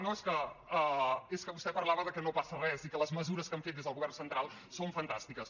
no és que vostè parlava que no passa res i que les mesures que han fet des del govern central són fantàstiques